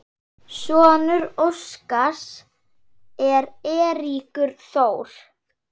Sonur Óskars er Eiríkur Þór.